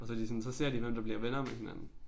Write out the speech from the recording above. Og så de sådan så ser de hvem der bliver venner med hinanden